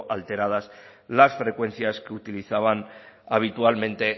alteradas las frecuencias utilizaban habitualmente